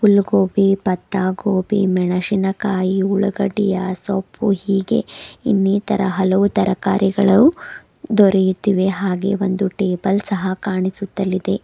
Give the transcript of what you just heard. ಗೋಪಿ ಪತ್ತ ಗೋಪಿ ಮೆಣಸಿನಕಾಯಿ ಉಳ್ಳಾಗಡ್ಡಿ ಸೋಪ್ಪು ಹೀಗೆ ಇನ್ನಿತರ ಹಲವು ತರಕಾರಿಗಳು ದೊರೆಯುತ್ತಿವೆ ಹಾಗೆ ಒಂದು ಟೇಬಲ್ ಇದೆ.